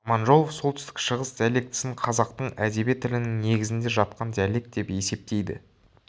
аманжолов солтүстік шығыс диалектісін қазақтың әдеби тілінің негізінде жатқан диалект деп есептейді